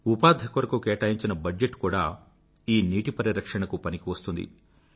ఉపాధి కొరకు కేటాయించిన బడ్జెట్ కూడా ఈ నీటి పరిరక్షణకు పనికివస్తుంది